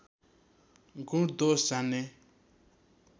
गुण दोष जान्ने